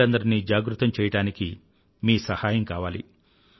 ప్రజలందరినీ జాగృతం చెయ్యడానికి మీ సహాయం కావాలి